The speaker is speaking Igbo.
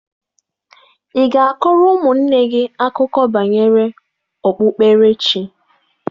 Ị ga-akọrọ ụmụnne gị akụkọ banyere okpukperechi.